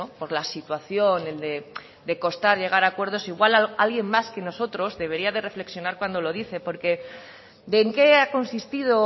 por la situación de costar llegar a acuerdos igual alguien más que nosotros debería de reflexionar cuando lo dice porque de en qué ha consistido o